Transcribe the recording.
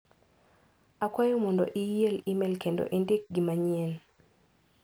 Akwayo mondo iel imel kendo indik gi manyien.